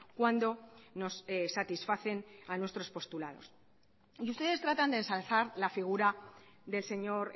cuando nos satisfacen a nuestros postulados y ustedes tratan de ensalzar la figura del señor